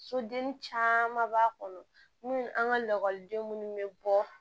Soden caman b'a kɔnɔ mun an ka lakɔliden minnu bɛ bɔ